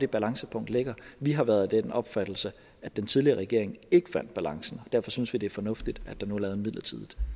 balancepunktet ligger vi har været af den opfattelse at den tidligere regering ikke fandt balancen og derfor synes vi det er fornuftigt at der nu er lavet et midlertidigt